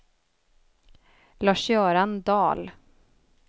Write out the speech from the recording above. Lars-Göran Dahl